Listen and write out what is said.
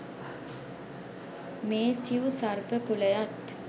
මේ සිව් සර්ප කුලයත්